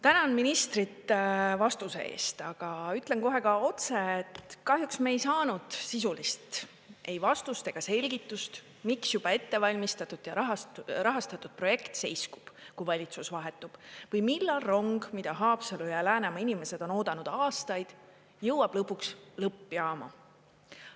Tänan ministrit vastuse eest, aga ütlen kohe ka otse, et kahjuks me ei saanud sisulist ei vastust ega selgitust, miks juba ette valmistatud ja rahastatud projekt seiskub, kui valitsus vahetub, või millal rong, mida Haapsalu ja Läänemaa inimesed on oodanud aastaid, jõuab lõpuks lõppjaama.